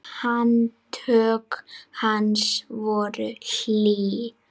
Handtök hans voru hlý.